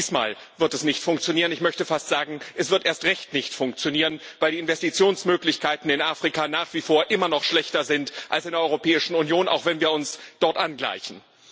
Auch diesmal wird es nicht funktionieren. Ich möchte fast sagen Es wird erst recht nicht funktionieren, weil die Investitionsmöglichkeiten in Afrika nach wie vor immer noch schlechter sind als in der Europäischen Union, auch wenn wir uns dort angleichen.